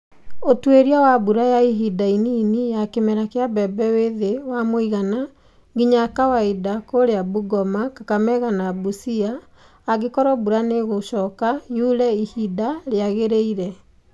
Ũtuĩria wa mbura ya ihinda inini ya kĩmera kĩa mbembe wĩ thĩ wa mũigana nginya kawaida kũrĩa Bungoma, Kakamega na Busia angĩkorwo mbura nĩ gũcoka yure ihinda rĩagĩrĩire.